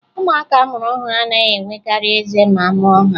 Ụmụaka a mụrụ ọhụrụ anaghị enwekarị eze ma a mụọ ha